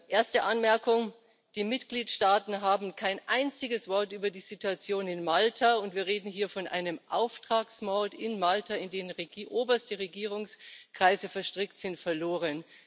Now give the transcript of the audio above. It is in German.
Erste Anmerkung Die Mitgliedstaaten haben kein einziges Wort über die Situation in Malta und wir reden hier von einem Auftragsmord in Malta, in den oberste Regierungskreise verstrickt sind verloren.